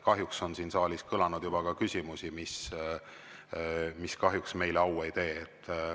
Kahjuks on siin saalis kõlanud ka küsimusi, mis meile au ei tee.